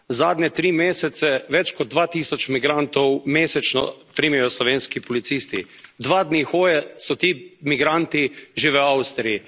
Zadnje tri mesece več kot 2000 migrantov mesečno primejo slovenski policisti. Dva dni hoje so ti migranti že v Avstriji.